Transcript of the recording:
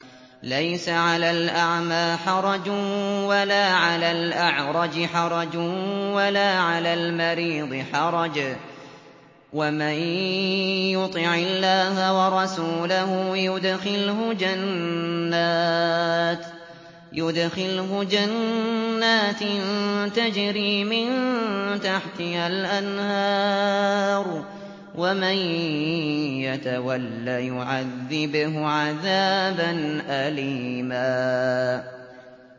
لَّيْسَ عَلَى الْأَعْمَىٰ حَرَجٌ وَلَا عَلَى الْأَعْرَجِ حَرَجٌ وَلَا عَلَى الْمَرِيضِ حَرَجٌ ۗ وَمَن يُطِعِ اللَّهَ وَرَسُولَهُ يُدْخِلْهُ جَنَّاتٍ تَجْرِي مِن تَحْتِهَا الْأَنْهَارُ ۖ وَمَن يَتَوَلَّ يُعَذِّبْهُ عَذَابًا أَلِيمًا